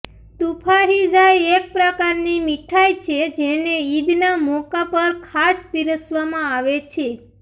તુફાહિઝા એક પ્રકારની મિઠાઈ છે જેને ઈદના મોકા પર ખાસ પિરસવામાં આવે છે